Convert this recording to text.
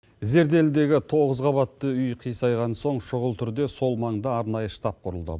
зерделідегі тоғыз қабатты үй қисайған соң шұғыл түрде сол маңда арнайы штаб құрылды